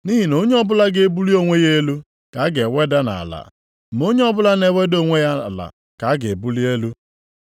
Nʼihi na onye ọbụla ga-ebuli onwe ya elu ka a ga-eweda nʼala, ma onye ọbụla na-eweda onwe ya ala ka a ga-ebuli elu.”